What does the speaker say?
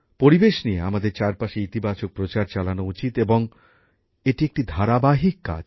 পরিবেশ নিয়ে আমাদের চারপাশে ইতিবাচক প্রচার চালানো উচিত এবং এটি একটি ধারাবাহিক কাজ